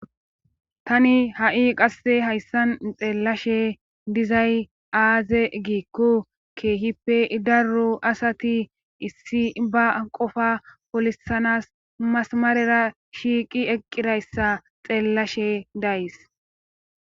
Tani ha'i qasse hayssan xeellashe dizay aaze giikku keehippe darru asati issi ba qofa polisanas masamarera shiiqi eqqirayssa xeellashe days.